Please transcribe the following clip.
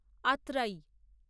Atrai